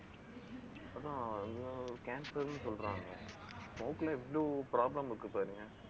அதான் எதோ cancer ன்னு சொல்றாங்க. மூக்குல எவ்வளவு problem இருக்கு பாருங்க